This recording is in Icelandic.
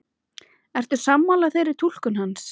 Ertu sammála þeirri túlkun hans?